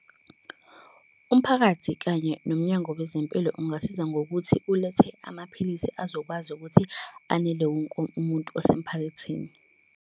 Umphakathi kanye nomnyango wezempilo ungasiza ngokuthi ulethe amaphilisi azokwazi ukuthi anele wonke umuntu wasemphakathini.